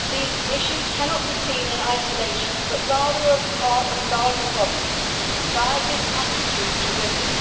These issues cannot be seen in isolation but rather as part of a larger problem society's attitude to women.